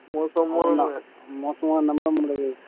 மோசமானதுதான் மோசமானது